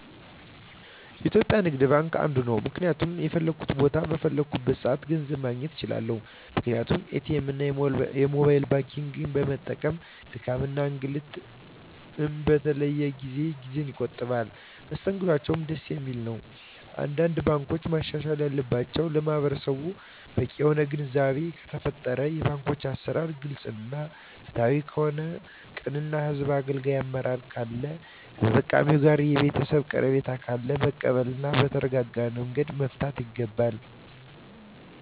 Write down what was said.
የኢትዩጲያ ንግድባንክ አንዱ ነዉ ምክንያቱም በፈለኩት ቦታ በፈለኩበት ሰአት ገንዘብ ማግኘት እንችላለን ምክንያቱም ኢትኤምእና የሞባይል ባንኪግን በመጠቀም ድካምንም እንግልትም በተለይ ደግሞ ጊዜየን ይቆጥብልኛል መስተንግዶአቸዉም ደስ የሚል ነዉ አንዳንድ ባንኮች ማሻሻል ያለባቸዉ ለማህበረሰቡ በቂ የሆነ ግንዛቤ ከተፈጠረ የባንኮች አሰራር ግልፅ እና ፍትሀዊ ከሆነ ቅን እና ህዝቡን አገልጋይ አመራር ካለ ከተጠቃሚዉ ጋር ቤተሰባዊ ቀረቤታ ካለ መቀበል እና በተረጋጋመንገድ መፍታት ይገባል